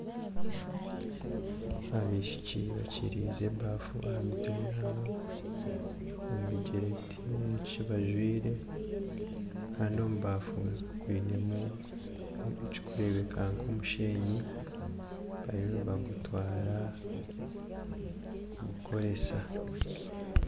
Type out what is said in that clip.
Abaishiki bakiriize ebafu aha mutwe yaabo omu bigyere tihaine ki bajwaire Kandi omu baafu bainemu ekirikureebeka nk'omusheenyi bariyo nibagutwara kugukoresa